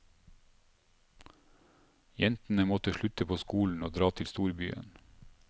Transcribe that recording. Jentene måtte slutte på skolen og dra til storbyen.